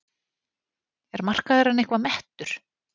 Er markaðurinn eitthvað mettur?